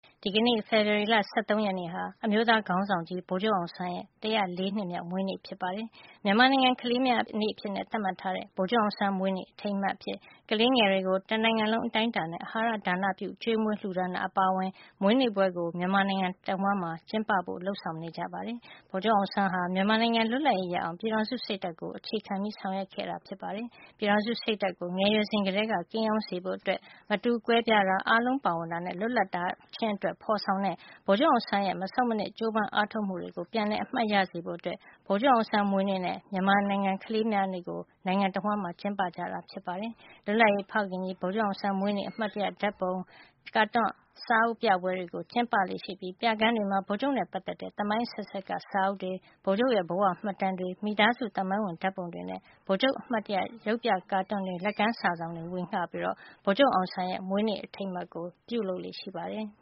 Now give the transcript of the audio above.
ဒီကနေ့ ဖေဖော်ဝါရီလ ၁၃ရက်နေ့ ဟာ အမျိုးသားခေါင်းဆောင်ကြီး ဗိုလ်ချုပ်အောင်ဆန်းရဲ့ (၁၀၄) နှစ်မြောက်မွေးနေ့ ဖြစ်ပါတယ်။ မြန်မာနိုင်ငံကလေးများနေ့အဖြစ် သတ်မှတ်ထားတဲ့ ဗိုလ်ချုပ်အောင်ဆန်း မွေးနေ့ အထိမ်းအမှတ် ကလေးငယ်တွေကို တနိုင်ငံလုံးအတိုင်းအတာနဲ့ အာဟာရဒါနပြုကျွေးမွေးလှူဒါန်းတာ အပါအဝင် မွေးနေ့ပွဲကို မြန်မာနိုင်ငံတဝှမ်း ကျင်းပလေ့ရှိပါတယ်။ ဗိုလ်ချုပ်အောင်ဆန်းဟာ မြန်မာနိုင်ငံ လွတ်လပ်ရေးရအောင် ပြည်ထောင်စုစိတ်ဓါတ်ကိုအခြေခံ ဆောင်ရွက်ခဲ့သူ ဖြစ်ပါတယ်။ ပြည်ထောင်စုစိတ်ဓါတ်ကို မြန်မာလူငယ်တွေ ငယ်ရွယ်စဉ်ကတည်းက ကိန်းအောင်းစေဖို့ မတူကွဲပြားခြင်း၊ အားလုံးပါဝင်ခြင်းနဲ့ လွတ်လပ်ခြင်း တို့အတွက် ဖော်ဆောင်ခဲ့သော ဗိုလ်ချုပ်အောင်ဆန်းရဲ့ မဆုတ်မနစ် ကြိုးပမ်းအားထုတ်ခဲ့မှုတွေကို ပြန်လည်အမှတ်ရ စေဖို့ဗိုလ်ချုပ်အောင်ဆန်းမွေးနေ့နှင့် မြန်မာကလေးများနေ့ကို နိုင်ငံတဝှမ်း ကျင်းပကြတာ ဖြစ်ပါတယ်။ လွတ်လပ်ရေးဖခင်ကြီး ဗိုလ်ချုပ်အောင်ဆန်း မွေးနေ့မှာ အမှတ်တရ ဓာတ်ပုံ၊ ကာတွန်းစာအုပ်ပြပွဲတွေကို ကျင်းပကြသလို ပြခန်းတွေမှာ ဗိုလ်ချုပ်နဲ့ပတ်သက်တဲ့ သမိုင်းအဆက်ဆက် စာအုပ်တွေ၊ ဗိုလ်ချုပ်ရဲ့ဘဝမှတ်တမ်းတွေ၊ မိသားစုသမိုင်းဝင်ဓာတ်ပုံတွေ ပြသပြီး ဗိုလ်ချုပ်အမှတ်တရ ကာတွန်းရုပ်ပြတွေနဲ့ လက်ကမ်းစာစောင်တွေကို ဝေဌပေး့ပြီး ဗိုလ်ချုပ်အောင်ဆန်း မွေးနေ့အထိမ်းအမှတ် ကျင်းပလေ့ရှိပါတယ်။